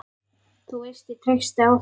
Þú veist ég treysti á þig.